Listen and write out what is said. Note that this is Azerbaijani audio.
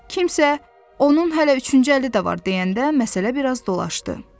Kimsə, onun hələ üçüncü əli də var, deyəndə məsələ bir az dolaşdı.